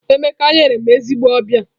Emeka nyere m ezigbo ọbịa.